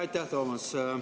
Aitäh, Toomas!